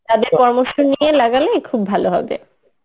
তাদের পরামর্শ নিয়ে লাগালে খুব ভালো হবে